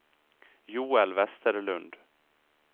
Joel Vesterlund